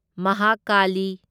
Mahakali